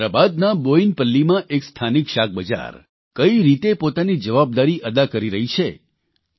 હૈદરાબાદના બોયિનપલ્લીમાં એક સ્થાનિક શાકબજાર કઇ રીતે પોતાની જવાબદારી અદા કરી રહી છે